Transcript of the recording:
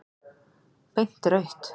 Beint rautt.